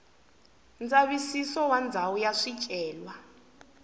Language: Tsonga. ndzavisiso wa ndhawu ya swicelwa